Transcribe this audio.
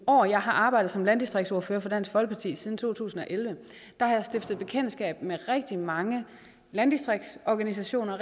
år jeg har arbejdet som landdistriktsordfører for dansk folkeparti det er siden to tusind og elleve har jeg stiftet bekendtskab med rigtig mange landdistriktsorganisationer og